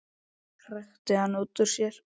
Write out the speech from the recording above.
hrækti hann út úr sér.